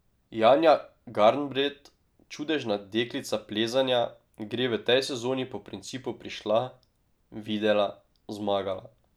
Janja Garnbret, čudežna deklica plezanja, gre v tej sezoni po principu prišla, videla, zmagala.